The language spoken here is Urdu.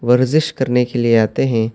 ورک آؤٹ کرنے کے لیے آتے ہیں۔